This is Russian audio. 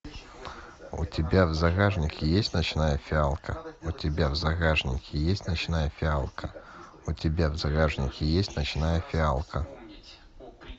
у тебя в загашнике есть ночная фиалка у тебя в загашнике есть ночная фиалка у тебя в загашнике есть ночная фиалка